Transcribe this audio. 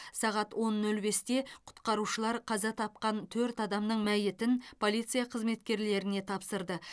сағат он нөл бесте құтқарушылар қаза тапқан төрт адамның мәйітін полиция қызметкерлеріне тапсырды